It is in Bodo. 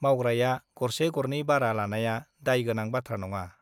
मावग्राया गरसे गरनै बारा लानाया दाय गोनां बाथ्रा नङा ।